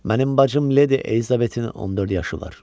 Mənim bacım Leydi Elizabetin 14 yaşı var.